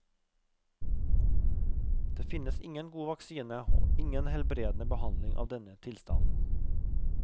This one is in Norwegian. Det finnes ingen god vaksine og ingen helbredende behandling av denne tilstanden.